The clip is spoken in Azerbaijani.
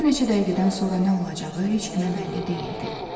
Bir neçə dəqiqədən sonra nə olacağı heç kimə bəlli deyildi.